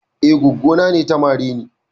Eh, goggo na ne ta mare ni.